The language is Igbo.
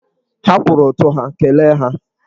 Ha kwụrụ ụtụ ha, kelee ha!